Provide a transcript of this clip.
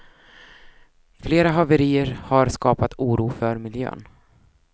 Flera haverier har skapat oro för miljön.